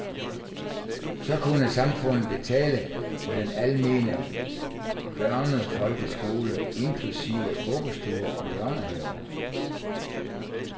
Så kunne samfundet betale for den almene børnefolkeskole, inklusive vuggestuer og børnehaver.